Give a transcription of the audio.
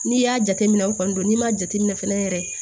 N'i y'a jateminɛ o kɔni don n'i m'a jateminɛ fɛnɛ yɛrɛ